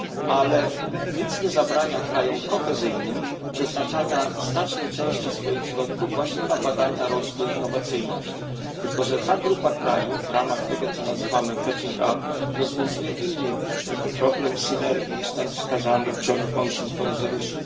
Ale nic nie zabrania krajom kohezyjnym przeznaczania znacznej części swoich środków właśnie na badania, rozwój i innowacyjność, tylko że ta grupa krajów w ramach tego co nazywamy catching up rozwiązuje inny problem synergii niż ten wskazany we wspólnym projekcie rezolucji.